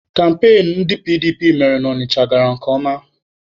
Kampain ndị PDP mere na Ọnịcha gara nke ọma